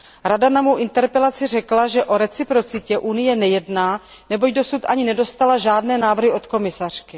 Rada na mou interpelaci řekla, že o reciprocitě Unie nejedná, neboť dosud ani nedostala žádné návrhy od komisařky.